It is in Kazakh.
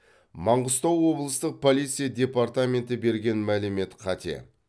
маңғыстау облыстық полиция департаменті берген мәлімет қате